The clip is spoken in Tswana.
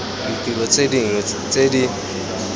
ditiro tse dingwe tse di